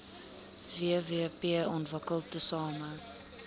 wvp ontwikkel tesame